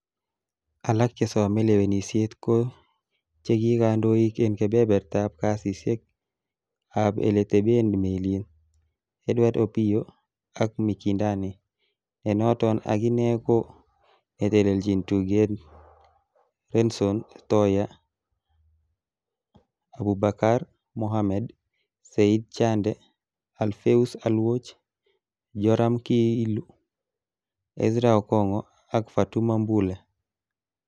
Alak chesome lewenisiet ko che ki kondoik en kebebertab kasisiek ab eleteben melit, Edward Opiyo ak Mikindani, nenoton akine ko netelechin tuget Renson Thoya, Abubakar Mohammed, Said Chande, Alphaeus Aluoch, Jorum Kiilu, Ezra okong'o ak Fatuma Mbule.